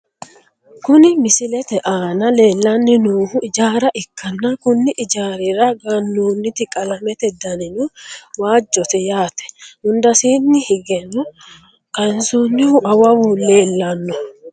Kuni misilete aana leellanni noohu ijaara ikkanna, konni ijaarira gannoonniti qalamete danino waajjote yaate, hundasiinni higeno kaansoonnihu awawu leellanno .